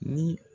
Ni